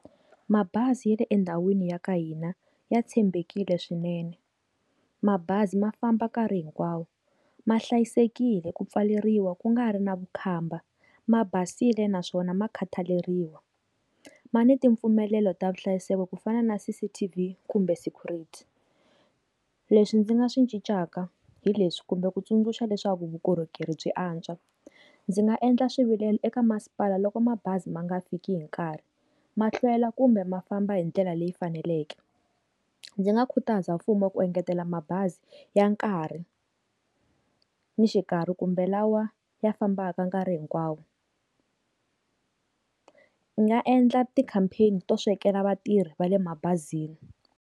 Mabazi ya le endhawini ya ka hina ya tshembekile swinene mabazi ma famba nkarhi hinkwawo ma hlayisekile ku pfaleriwa ku nga ri na vukhamba ma basile naswona ma khataleriwa ma ni ti mpfumelelo ta vuhlayiseki ku fana na CCTV kumbe vu security leswi ndzi nga swi ndzi nga swi cincaka hileswi kumbe ku tsundzuxa leswaku vukorhokeri byi antswa ndzi nga endla swivilelo eka masipala loko mabazi ma nga fiki hi nkarhi mahlwela kumbe mafamba hi ndlela leyi faneleke ndzi nga khutaza mfumo ku engetela mabazi ya nkarhi ni xikarhi kumbe lawa ya fambaka nkarhi hinkwawo nga endla ti-campaign to swekela vatirhi va le mabazi.